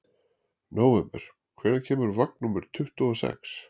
Nóvember, hvenær kemur vagn númer tuttugu og sex?